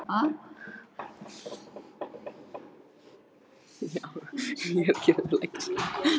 Signhildur, hvað er opið lengi á mánudaginn?